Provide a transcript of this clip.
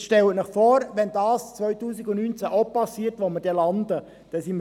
Jetzt stellen Sie sich vor, wo wir landen, wenn das auch 2019 geschieht.